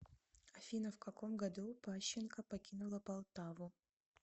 афина в каком году пащенко покинула полтаву